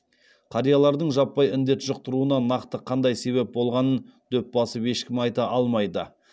қариялардың жаппай індет жұқтыруына нақты қандай себеп болғанын дөп басып ешкім айта алмайды